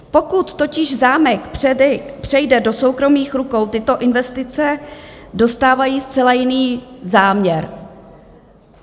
Pokud totiž zámek přejde do soukromých rukou, tyto investice dostávají zcela jiný záměr.